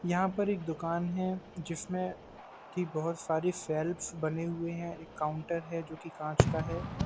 यहाँ पर एक दुकान है। जिसमे कि बहुत सारी सेल्फस बने हुए हैं। एक काउन्टर है जो की काँच का है।